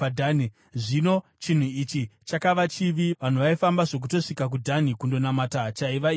Zvino chinhu ichi chakava chivi; vanhu vaifamba zvokutosvika kuDhani kundonamata chaiva ikoko.